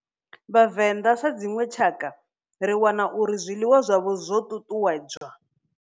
Vhavenda sa dzinwe tshakha ri wana uri zwiḽiwa zwavho zwo tutuwedzwa.